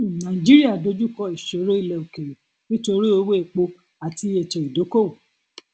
um nàìjíríà dojú kọ ìṣòro ilẹ òkèèrè nítorí owó epo àti ètò ìdókoowò